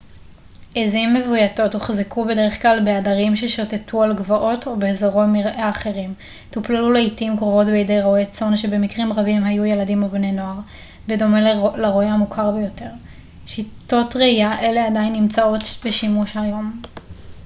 עזים מבויתות הוחזקו בדרך כלל בעדרים ששוטטו על גבעות או באזורי מרעה אחרים טופלו לעתים קרובות בידי רועי צאן שבמקרים רבים היו ילדים או בני נוער בדומה לרועה המוכר יותר שיטות רעייה אלה עדיין נמצאות בשימוש היום